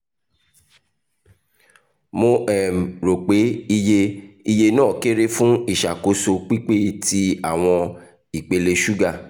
mo um ro pe iye iye naa kere fun iṣakoso pipe ti awọn ipele suga